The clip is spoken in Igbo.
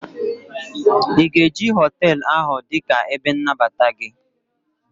ị ga-eji họtelu ahụ dị ka ebe nnabata gị?